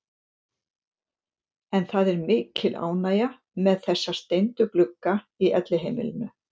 En það er mikil ánægja með þessa steindu glugga í Elliheimilinu.